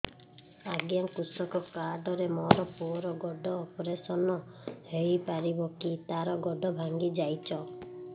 ଅଜ୍ଞା କୃଷକ କାର୍ଡ ରେ ମୋର ପୁଅର ଗୋଡ ଅପେରସନ ହୋଇପାରିବ କି ତାର ଗୋଡ ଭାଙ୍ଗି ଯାଇଛ